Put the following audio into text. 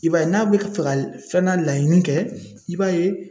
I b'a ye n'a bɛ fɛ ka filanan laɲini kɛ i b'a ye